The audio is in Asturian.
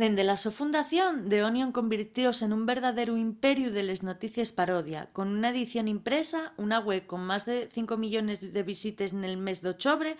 dende la so fundación the onion convirtióse nun verdaderu imperiu de les noticies parodia con una edición impresa una web con más de 5 000 000 visites nel mes d'ochobre